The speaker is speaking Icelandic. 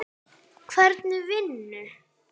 Hvernig vinnu?